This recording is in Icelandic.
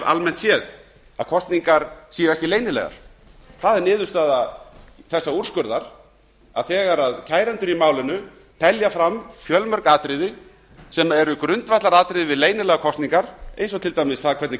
almennt séð að kosningar séu ekki leynilegar það er niðurstaða þessa úrskurðar að þegar kærendur í málinu telja fram fjölmörg atriði sem eru grundvallaratriði við leynilegar kosningar eins og til dæmis það hvernig